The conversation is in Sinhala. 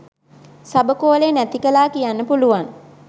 සබකෝලය නැති කළා කියන්න පුළුවන්.